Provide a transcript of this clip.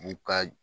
U ka